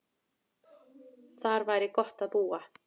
Þar væri gott að búa.